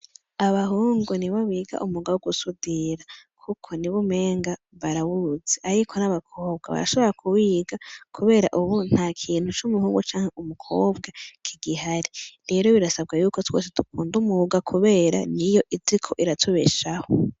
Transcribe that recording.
Abahungu nibo biga umwuga wo gusudira , kuko nibo umenga barawuzi ariko n'abakobwa barashobora kuwiga kubera ubu ntakintu c'umuhungu canke umukobwa kigihari, rero birasabwa yuko twese dukunda muwuga kubera niyo iriko iratubeshaho .